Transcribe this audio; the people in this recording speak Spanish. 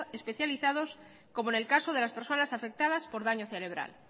especializados como en el caso de las personas afectadas por daño cerebral